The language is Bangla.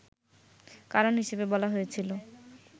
কারণ হিসেবে বলা হয়েছিল